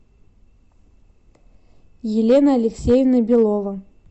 елена алексеевна белова